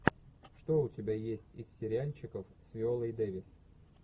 что у тебя есть из сериальчиков с виолой дэвис